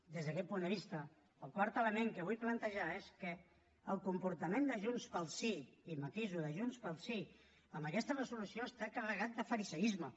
des d’aquest punt de vista el quart element que vull plantejar és que el comportament de junts pel sí i ho matiso de junts pel sí en aquesta resolució està carregat de fariseisme